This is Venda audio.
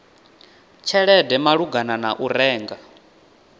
tshelede malugana na u renga